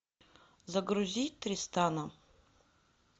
загрузи тристана